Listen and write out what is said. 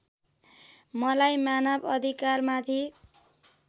मलाई मानव अधिकारमाथि